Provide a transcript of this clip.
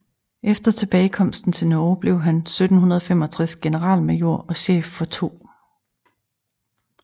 Efter tilbagekomsten til Norge blev han 1765 generalmajor og chef for 2